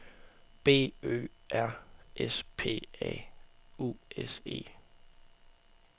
B Ø R S P A U S E